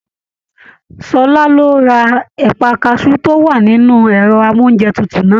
Ṣọlá ló rà ẹpa kasú to wà nínú ẹrọ amounjẹ tútù náà.